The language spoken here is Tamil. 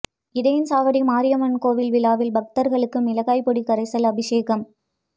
இடையன்சாவடி மாரியம்மன் கோயில் விழாவில் பக்தர்களுக்கு மிளகாய் பொடி கரைசல் அபிஷேகம்